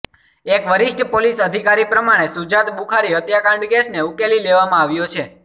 એક વરિષ્ઠ પોલીસ અધિકારી પ્રમાણે શુજાત બુખારી હત્યાકાંડ કેસને ઉકેલી લેવામાં આવ્યો છે